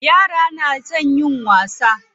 Yara na son yin wasa.